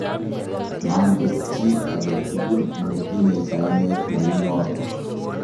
manget chii age tugul ne tinyei kainet neu noto